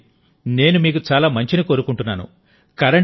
రండి నేను మీకు చాలా మంచిని కోరుకుంటున్నాను